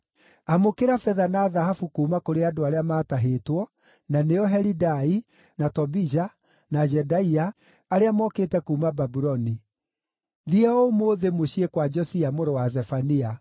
“Amũkĩra betha na thahabu kuuma kũrĩ andũ arĩa maatahĩtwo, na nĩo Helidai, na Tobija, na Jedaia, arĩa mokĩte kuuma Babuloni. Thiĩ o ũmũthĩ mũciĩ kwa Josia mũrũ wa Zefania.